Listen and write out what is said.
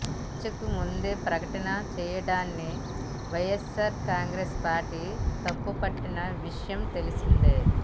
చర్చకు ముందే ప్రకటన చేయడాన్ని వైయస్సార్ కాంగ్రెసు పార్టీ తప్పు పట్టిన విషయం తెలిసిందే